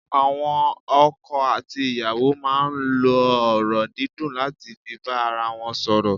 Àwọn ọkọ àti ìyàwó máa n lo ọ̀rọ̀ dídùn láti fi bá ara won sòrò